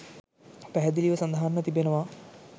පැහැදිලිව සඳහන්ව තිබෙනවා.